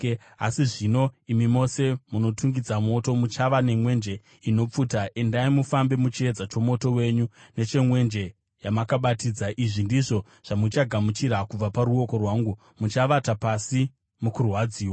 Asi zvino, imi mose munotungidza moto muchava nemwenje inopfuta, endai, mufambe muchiedza chomoto wenyu nechemwenje yamakabatidza. Izvi ndizvo zvamuchagamuchira kubva paruoko rwangu: Muchavata pasi mukurwadziwa.